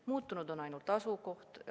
Muutunud on ainult asukoht.